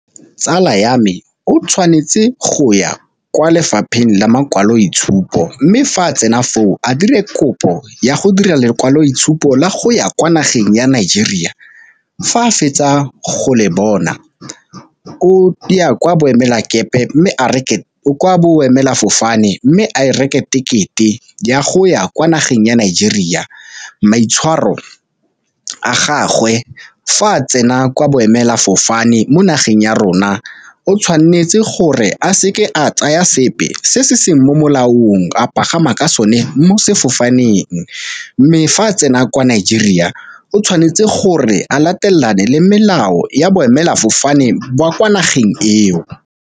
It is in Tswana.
Tsala ya me o tshwanetse go ya kwa lefapheng la makwalotshupo, mme fa a tsena foo a dire kopo ya go dira lekwaloitshupo la go ya kwa nageng ya Nigeria, fa a fetsa go le bona o ya kwa boemelafofane mme a e reke ticket-e ya go ya kwa nageng ya Nigeria. Maitshwaro a gagwe fa a tsena kwa boemelafofane mo nageng ya rona o tshwanetse gore a seke a tsaya sepe se se seng mo molaong a pagama ka sone mo sefofaneng, mme fa a tsena kwa Nigeria o tshwanetse gore a latelane le melao ya boemelafofane jwa kwa nageng eo.